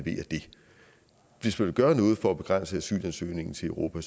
hvis man vil gøre noget for at begrænse asylansøgningen til europa